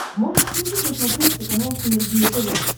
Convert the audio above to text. можешь включить на смотрешке канал синергия тв